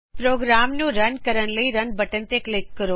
programme ਨੂੰ run ਕਰਨ ਲਈ ਰਨ ਬਟਨ ਤੇ ਕਲਿਕ ਕਰੋ